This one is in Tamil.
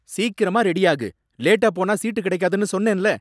சீக்கிரமா ரெடியாகு! லேட்டா போனா சீட்டு கிடைக்காதுன்னு சொன்னேன்ல.